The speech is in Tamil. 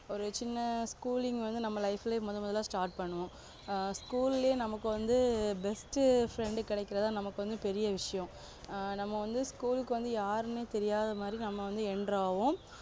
ஒரு சின்ன school ங் வந்து நம்ம life லே முத முதலா start பண்ணுவோம் ஆஹ் school லே நமக்கு வந்து best friend கிடைக்கறதா நமக்கு வந்து பெரிய விஷயம் ஆ நம்ம வந்து school க்கு வந்து யாருனே தேரியாத மாதிரி நாம வந்து enter ஆகுவோம்